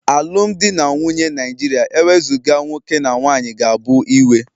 Alụmdi na nwunye Naijiria ewezuga nwoke na nwanyị ga-abụ iwe